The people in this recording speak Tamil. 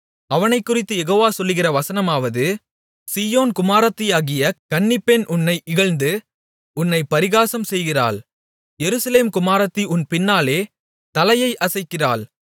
அவனைக்குறித்துக் யெகோவா சொல்லுகிற வசனமாவது சீயோன் குமாரத்தியாகிய கன்னிப்பெண் உன்னை இகழ்ந்து உன்னைப் பரிகாசம்செய்கிறாள் எருசலேம் குமாரத்தி உன் பின்னாலே தலையை அசைக்கிறாள்